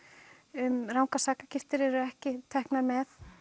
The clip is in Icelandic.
um rangar sakagiftir eru ekki teknar með